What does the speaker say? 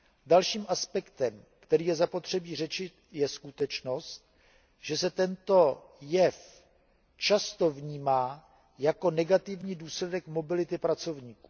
Dalším aspektem, který je zapotřebí řešit, je skutečnost, že se tento jev často vnímá jako negativní důsledek mobility pracovníků.